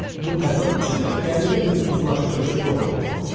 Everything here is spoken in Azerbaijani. Bu təzad içində qəribə bir uzlaşdırıcı formul tapılmışdı.